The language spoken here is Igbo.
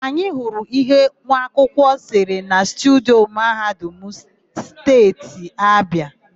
Anyị hụrụ íhé nwaakwụkwọ sere na studio Mahadum Steeti Abịa.